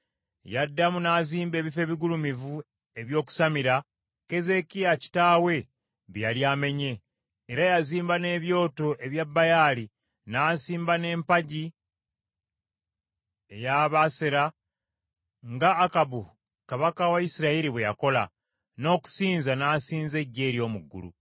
Yaddamu n’azimba ebifo ebigulumivu eby’okusamira, Keezeekiya kitaawe bye yali amenye: era yazimba n’ebyoto ebya Baali, n’asimba n’empagi kya Asera, nga Akabu kabaka wa Isirayiri bwe yakola, n’okusinza n’asinza eggye ery’omu ggulu.